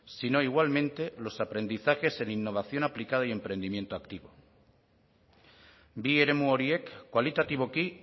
sino igualmente los aprendizajes en innovación aplicada y emprendimiento activo bi eremu horiek kualitatiboki